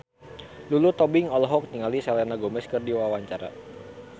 Lulu Tobing olohok ningali Selena Gomez keur diwawancara